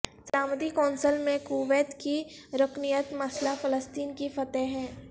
سلامتی کونسل میں کویت کی رکنیت مسلہ فلسطین کی فتح ہے